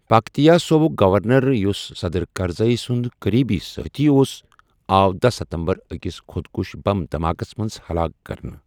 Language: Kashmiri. پکتیا صوبُک گورنَر، یُس صدٕر کرزئی سُنٛد قٔریٖبی سٲتھی اوس، آو داہ ستمبر أکِس خۄدکش بم دھماکَس منٛز ہلاک كرنہٕ ۔